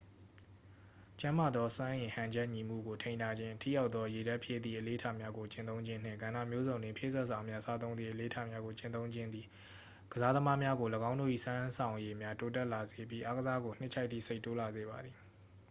ကျန်းမာသော စွမ်းအင်ဟန်ချက်ညီမှုကို ထိန်းထားခြင်း ထိရောက်သော ရေဓာတ်ဖြည့်သည့် အလေ့အထများကို ကျင့်သုံးခြင်းနှင့် ကဏ္ဍမျိုးစုံတွင် ဖြည့်စွက်စာများ စားသုံးသည့် အလေ့အထများကို ကျင့်သုံးခြင်းသည် ကစားသမားများကို ၎င်းတို့၏စွမ်းဆောင်ရည်များ တိုးတက်လာစေပြီး အားကစားကို နှစ်ခြိုက်သည့်စိတ် တိုးလာစေပါသည်